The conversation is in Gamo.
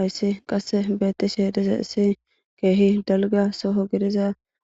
Hayssi qasse beettishe dizayisi keehi dalga soho gidiza